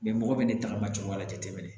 mɔgɔ bɛ ne tagama cogoya wɛrɛ la tɛ tɛmɛ